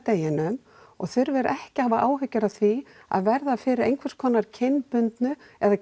deginum og þurfir ekki að hafa áhyggjur af því að verða fyrir einhvers konar kynbundnu eða